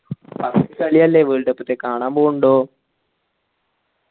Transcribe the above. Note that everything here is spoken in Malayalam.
first കളിയല്ലേ world cup ത്തെ കാണാൻ പോണ്ടോ